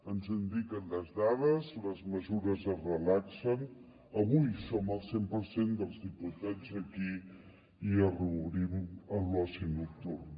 ens ho indiquen les dades les mesures es relaxen avui som al cent per cent dels diputats aquí i reobrim l’oci nocturn